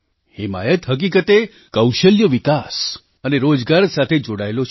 હિમાયત હકીકતે કૌશલ્ય વિકાસ અને રોજગાર સાથે જોડાયેલો છે